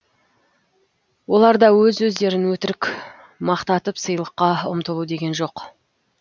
оларда өз өздерін өтірік мақтатып сыйлыққа ұмтылу деген жоқ